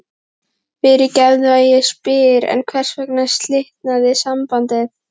Fyrirgefðu að ég spyr en hvers vegna slitnaði sambandið?